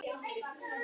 Katrín og Gunnar.